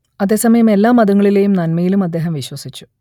അതേസമയം എല്ലാ മതങ്ങളിലേയും നന്മയിലും അദ്ദേഹം വിശ്വസിച്ചു